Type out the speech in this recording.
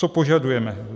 Co požadujeme: